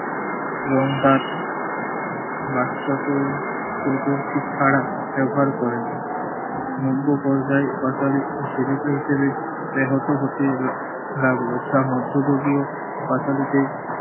এবং তার বাচ্চাকে ছাড়া ব্যবহার করেন। নব্য পর্যায়ে পাঁচালী জীবিকা হিসেবে ব্যাহত হতে লা~ লাগল। যা মধ্যযুগীয় পাঁচালীকে